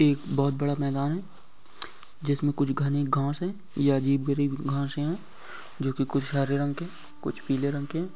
एक बहुत बड़ा मैदान है जिसमें कुछ घनी घांस है| यह अजीब - गरीब घांस है जो कि कुछ हरे रंग के कुछ पीले रंग के हैं।